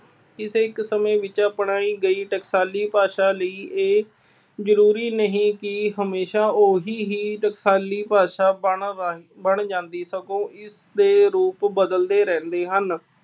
ਕਿਸੇ ਇੱਕ ਸਮੇਂ ਵਿੱਚ ਅਪਣਾਈ ਗਈ ਟਕਸਾਲੀ ਭਾਸ਼ਾ ਲਈ ਇਹ ਜ਼ਰੂਰੀ ਨਹੀਂ ਕਿ ਹਮੇਸ਼ਾ ਉਹਦੀ ਹੀ ਟਕਸਾਲੀ ਭਾਸ਼ਾ ਬਣਨ ਰਾਹੀਂ ਬਣ ਜਾਂਦੀ ਸਗੋਂ ਇਸਦੇ ਰੂਪ ਬਦਲਦੇ ਰਹਿੰਦੇ ਹਨ।